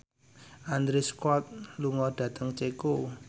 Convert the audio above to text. Andrew Scott lunga dhateng Ceko